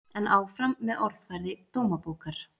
En áfram með orðfæri Dómabókar